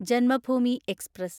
Janmabhumi express